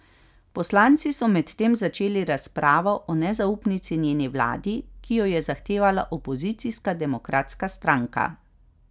Poslanci so medtem začeli razpravo o nezaupnici njeni vladi, ki jo je zahtevala opozicijska Demokratska stranka.